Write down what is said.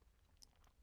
DR2